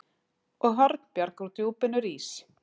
Og Hornbjarg úr djúpinu rís